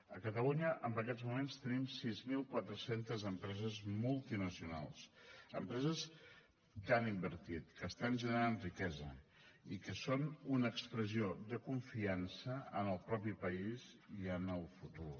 a catalunya en aquests moments tenim sis mil quatre cents empreses multinacionals empreses que han invertit que estan generant riquesa i que són una expressió de confiança en el propi país i en el futur